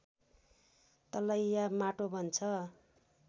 तलैया माटो बन्छ